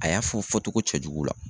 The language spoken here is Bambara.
A y'a fɔ fɔcogo cɛjugu la